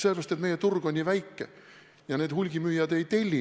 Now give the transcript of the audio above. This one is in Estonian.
Sellepärast, et meie turg on nii väike ja hulgimüüjad ei telli neid.